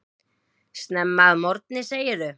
Snemma að morgni segirðu.